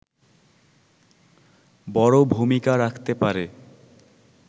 বড় ভূমিকা রাখতে পারে